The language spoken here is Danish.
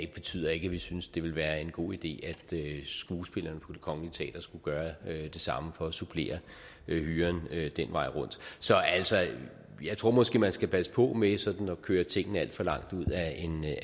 betyder ikke at vi synes det ville være en god idé at skuespillerne på det kongelige teater skulle gøre det samme for at supplere hyren den vej rundt så altså jeg tror måske at man skal passe på med sådanne at køre tingene alt for langt ud